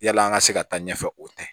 Yala an ka se ka taa ɲɛfɛ o tɛ